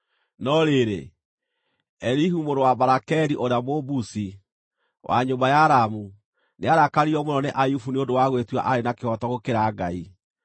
No rĩrĩ, Elihu mũrũ wa Barakeli ũrĩa Mũbuzi, wa nyũmba ya Ramu, nĩarakaririo mũno nĩ Ayubu nĩ ũndũ wa gwĩtua aarĩ na kĩhooto gũkĩra Ngai.